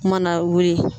Mana wuli